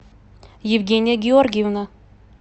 евгения георгиевна